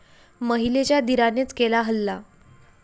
महिलेच्या दीरानेच केला हल्ला